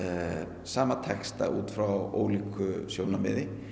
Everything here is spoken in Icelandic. sama texta út frá ólíku sjónarmiði